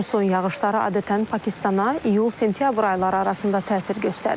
Musson yağışları adətən Pakistana iyul-sentyabr ayları arasında təsir göstərir.